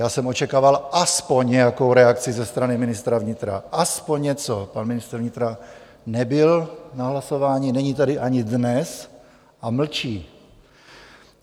Já jsem očekával aspoň nějakou reakci ze strany ministra vnitra, aspoň něco - pan ministr vnitra nebyl na hlasování, není tady ani dnes a mlčí.